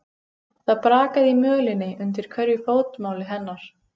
Það brakaði í mölinni undir hverju fótmáli hennar.